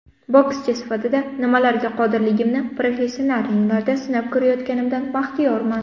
Bokschi sifatida nimalarga qodirligimni professional ringlarda sinab ko‘rayotganimdan baxtiyorman.